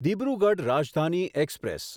Dibrugarh Rajdhani express